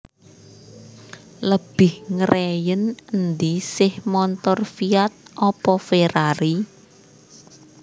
Lebih ngreyen endi seh montor Fiat opo Ferrari